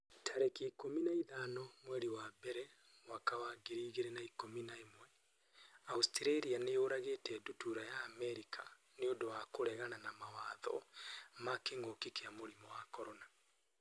tarĩki ikũmi na ithano mweri wa mbere mwaka wa ngiri igĩrĩ na ikũmi na ĩmweAustralia nĩ yũragĩte ndutura ya Amerika 'nĩ ũndũ wa kũregana mawatho ma kĩngũki kia mũrimũ wa CORONA